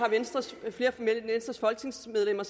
af venstres folketingsmedlemmer